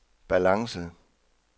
balance